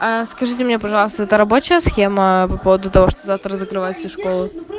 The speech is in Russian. скажите мне пожалуйста это рабочая схема по поводу того что завтра закрывают все школы